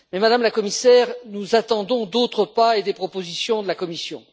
Néanmoins, Madame la Commissaire, nous attendons d'autres pas et des propositions de la Commission.